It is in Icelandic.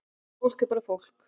Fólk er bara fólk